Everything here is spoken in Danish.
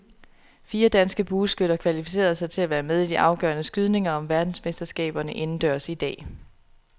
Fire danske bueskytter kvalificerede sig til at være med i de afgørende skydninger om verdensmesterskaberne indendørs i dag.